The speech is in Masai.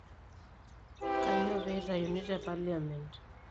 Kanyioo pee eitayuni te parliament?